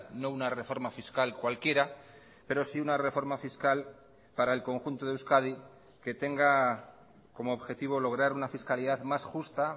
no una reforma fiscal cualquiera pero sí una reforma fiscal para el conjunto de euskadi que tenga como objetivo lograr una fiscalidad más justa